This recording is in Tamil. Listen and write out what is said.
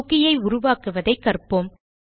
குக்கி ஐ உருவாக்குவதை கற்ப்போம்